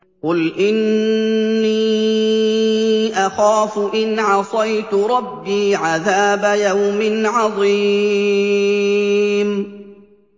قُلْ إِنِّي أَخَافُ إِنْ عَصَيْتُ رَبِّي عَذَابَ يَوْمٍ عَظِيمٍ